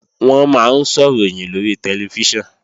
Wọ́n máa ń sọ̀ròyìn lórí tẹlifíṣàn